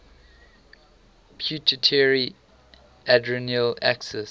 pituitary adrenal axis